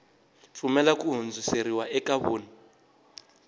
pfumelela ku hundziseriwa ka vun